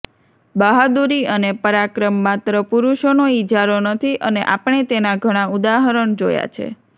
બહાદુરી અને પરાક્રમ માત્ર પુરુષોનો ઇજારો નથી અને આપણે તેના ઘણા ઉદાહરણ જોયા છે